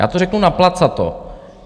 Já to řeknu naplacato.